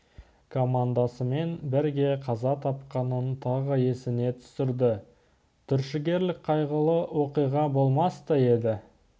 командасымен бірге қаза тапқанын тағы есіне түсірді түршігерлік қайғылы оқиға болмас та еді